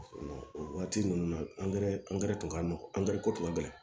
O waati ninnu na angɛrɛ angɛrɛ tun ka nɔgɔ angɛrɛ ko tun ka gɛlɛn